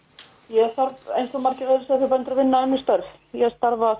ég þarf eins og margir aðrir sauðfjárbændur að vinna önnur störf ég starfa